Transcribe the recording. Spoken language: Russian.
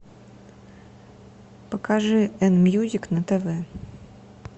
покажи эн мьюзик на тв